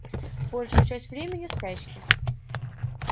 большую часть времени в спячке